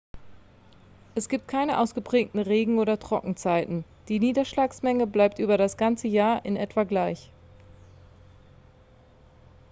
es gibt keine ausgeprägten regen oder trockenzeiten die niederschlagsmenge bleibt über das ganze jahr in etwa gleich